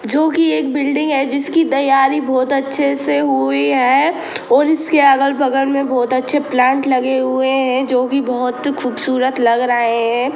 जोकि एक बिल्डिंग है जिसकी तैयारी बहुत अच्छे से हुई हैऔर इसके अगल बगल मे बोहोत अच्छे प्लांट लगे हुए है जोके बोहोत खूबसूरत लग रहे है।